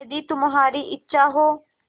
यदि तुम्हारी इच्छा हो